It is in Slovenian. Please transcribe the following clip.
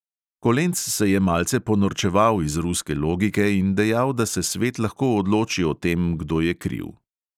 Kolenc se je malce ponorčeval iz ruske logike in dejal, da se svet lahko odloči o tem, kdo je kriv.